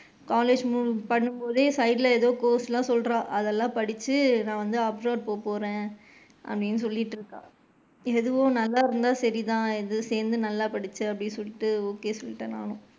College பண்ணும்போதே side ல ஏதோ course லா சொல்றா அதலாம் படிச்சு நான் வந்து abroad போக போறேன் அப்படின்னு சொல்லிட்டு இருக்கா. எதுவோ நால்லா இருந்தா சரி தான் ஏதோ சேர்ந்து நல்லா படிச்சு அப்படின்ட்டு okay சொல்லிட்டேன் நானும்.